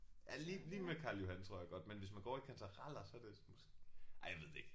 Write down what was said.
Ja lige lige med Karl Johan tror jeg godt men hvis man går over i kantareller så er det måske ej jeg ved det ikke